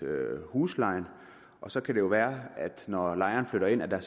huslejen og så kan det jo være at når lejeren flytter ind er